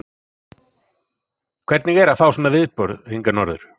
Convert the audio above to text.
Hvernig er að fá svona viðburð hingað norður?